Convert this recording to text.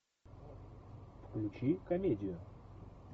включи комедию